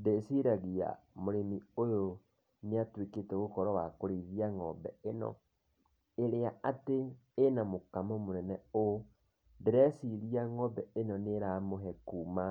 Ndĩciragia mũrĩmi ũyũ nĩ atuĩkite gũkorwo wa kũrĩithia ng'ombe ĩno, ĩrĩa atĩ ĩna mũkamo mũnene ũũ, ndĩreciria ng'ombe ĩno nĩ ĩramũhe iria